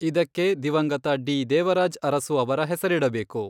ಇದಕ್ಕೆ ದಿವಂಗತ ಡಿ. ದೇವರಾಜ್ ಅರಸು ಅವರ ಹೆಸರಿಡಬೇಕು.